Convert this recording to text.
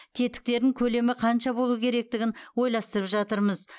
тетіктерін көлемі қанша болуы керектігін ойластырып жатырмыз